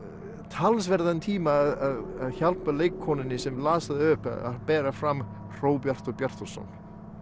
talsverðum tíma að hjálpa leikkonunni sem las upp að bera fram Hróbjartur Bjartarson